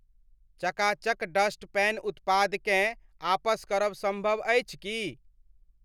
चका चक dust pan उत्पादकेँ आपस करब सम्भव अछि की ?